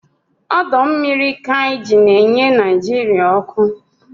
Ọdọmmiri Kainji na-enye Naijiria ọkụ